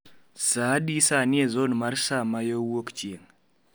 Saa adi sani e zon mar saa ma yo wuokchieng'